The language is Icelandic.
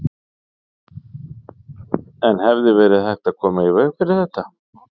En hefði verið hægt að koma í veg fyrir þetta?